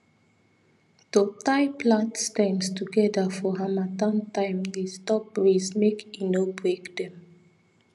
to tie plant stems together for harmattan time dey stop breeze mk e no break them